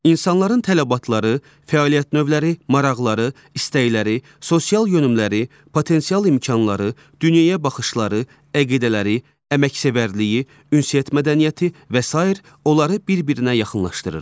İnsanların tələbatları, fəaliyyət növləri, maraqları, istəkləri, sosial yönümləri, potensial imkanları, dünyaya baxışları, əqidələri, əməksevərliyi, ünsiyyət mədəniyyəti və sair onları bir-birinə yaxınlaşdırır.